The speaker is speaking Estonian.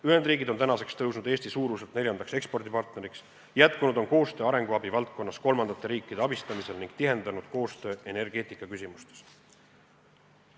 Ühendriigid on tõusnud Eesti suuruselt neljandaks ekspordipartneriks, jätkunud on koostöö arenguabi valdkonnas kolmandate riikide abistamisel ning tihenenud koostöö energeetikaküsimustes.